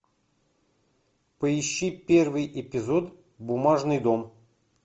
поищи первый эпизод бумажный дом